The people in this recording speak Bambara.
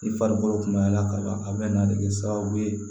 I farikolo kun maɲi a la kaban a bɛ na de kɛ sababu ye